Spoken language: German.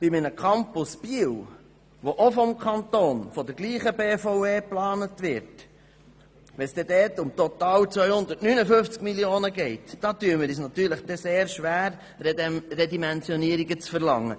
Bei einem Campus Biel, der auch vom Kanton und der gleichen BVE geplant wird, tun wir uns schwer, Redimensionierungen zu verlangen.